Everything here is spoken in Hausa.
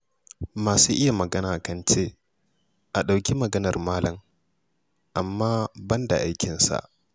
Masu iya magana kan ce, 'a ɗauki maganar malam, amma ban da aikinsa'.